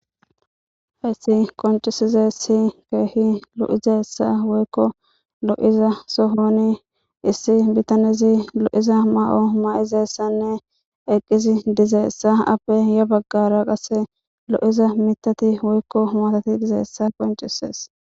Hays qoncizays keeh lo'izaysa woykko lo'iza sohon issi bitanez lo'iza mayo mayidaysanne eqid dizaysa appe ya bagara qase lo'za mithat woy matay dizaysa qoncises